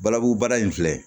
Balabu baara in filɛ